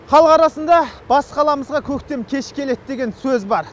халық арасында бас қаламызға көктем кеш келеді деген сөз бар